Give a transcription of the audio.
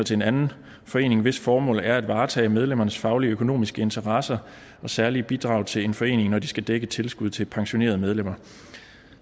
til en anden forening hvis formål er at varetage medlemmernes faglige og økonomiske interesser og særlige bidrag til en forening når de skal dække et tilskud til pensionerede medlemmer